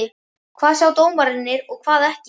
Hvað sjá dómararnir og hvað ekki?